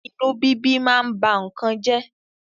Inú bíbí ma ń ba nnkan jẹ́.